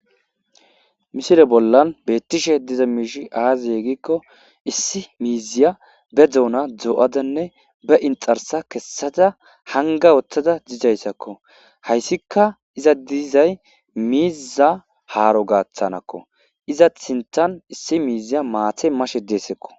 Missile bola betishe diza mishi aze gikko issi mizia be dona doadnne ba inxxarsa kesaza hangawutada dizayisakko hayisika eza dizay miza haro gaatanikko izi sintan issi miziy mati mashe diayisakko.